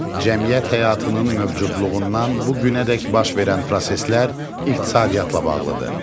Cəmiyyət həyatının mövcudluğundan bu günədək baş verən proseslər iqtisadiyyatla bağlıdır.